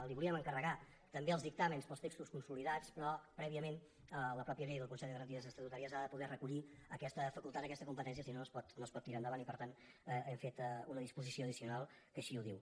li volíem encarregar també els dictàmens per als textos consolidats però prèviament la mateixa llei del consell de garanties estatutàries ha de poder recollir aquesta facultat aquesta competència si no no es pot tirar endavant i per tant hem fet una disposició addicional que així ho diu